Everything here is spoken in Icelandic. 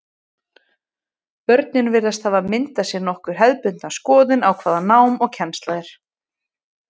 Börnin virðast hafa myndað sér nokkuð hefðbundna skoðun á hvað nám og kennsla er.